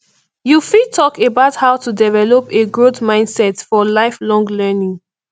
you fit talk about how to develop a growth mindset for lifelong learning